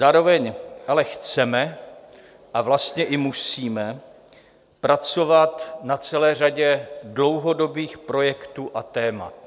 Zároveň ale chceme, a vlastně i musíme, pracovat na celé řadě dlouhodobých projektů a témat.